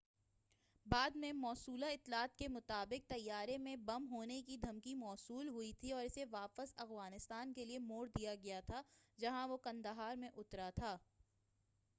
بعد میں موصولہ اطلاعات کے مطابق طیارے میں بم ہونے کی دھمکی موصول ہوئی تھی اور اسے واپس افغانستان کے لیے موڑ دیا گیا تھا جہاں وہ قندھار میں اترا تھا